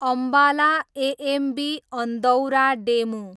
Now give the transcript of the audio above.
Ambala AMB Andaura DEMU